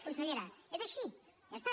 consellera és així ja està